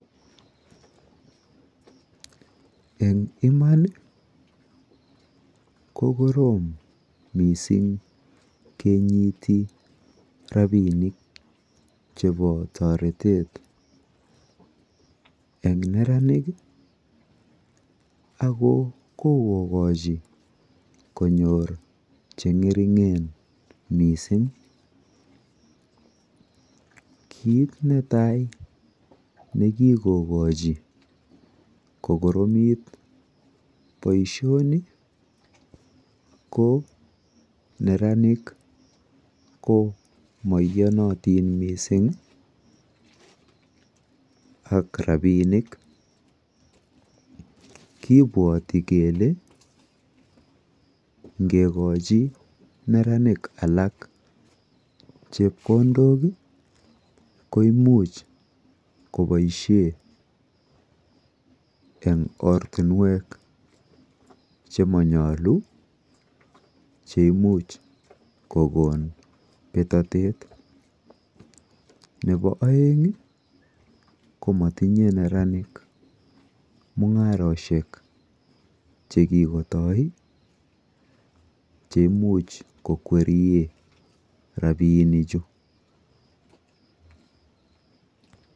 Eng' imani ko korom missing' kenyiti rapinik chepo taretet eng' neranik ako kokokachi konyor che ng'ering'en missing'. Kiit ne tai ne kikokachi kokoromit poishoni ko neranik ko maiyanatin missing' ak rapinik. Kipwati kele ngekochi netanik alak chepkondok ko imuch kopaishe eng'ortunwek che ma nyalu che imuch kokon petatet. Nepo aeng' ko matinye neranik mung'aroshek che kikotai che imuch kokwerie rapinichu.